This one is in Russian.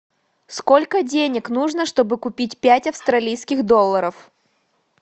сколько денег нужно чтобы купить пять австралийских долларов